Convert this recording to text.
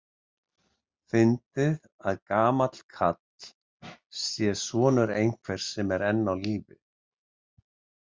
Fyndið að gamall karl sé sonur einhvers sem er enn á lífi.